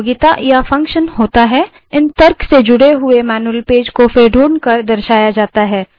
इन तर्कों से जुड़े हुए मैन्यूअल पेज को फिर ढूँढकर दर्शाया जाता है